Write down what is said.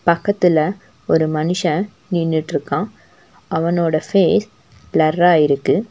பக்கத்துல ஒரு மனுஷன் நின்னுட்ருக்கான் அவனோட ஃபேஸ் ப்ளர்ரா இருக்கு.